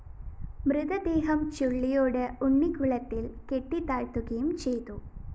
മൃതദേഹം ചുള്ളിയോട് ഉണ്ണിക്കുളത്തില്‍ കെട്ടിത്താഴ്ത്തുകയും ചെയ്തു